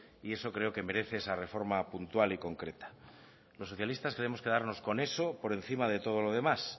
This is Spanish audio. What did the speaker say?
y eso creo que merece esa reforma puntual y concreta los socialistas queremos quedarnos con eso por encima de todo lo demás